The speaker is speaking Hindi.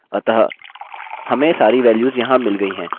अतः हमें सारी वैल्यूस यहाँ मिल गयी हैं